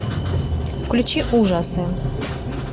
включи ужасы